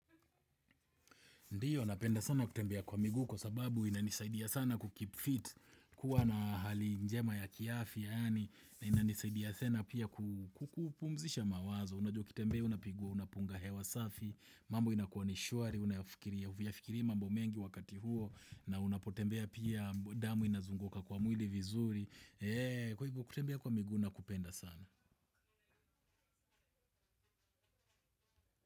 Ndio, napenda sana kutembea kwa miguu kwa sababu inanisaidia sana ku keep fit, kuwa na hali njema ya kiafi yaani na inanisaidia sana pia kupumzisha mawazo. Unajua ukitembea, unapunga hewa safi. Mambo inakua ni shwari, huyafikiri mambo mengi wakati huo. Na unapotembea pia damu inazunguka kwa mwili vizuri kwa hivyo, kutembea kwa miguu nakupenda sana.